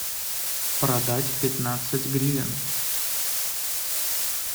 продать пятнадцать гривен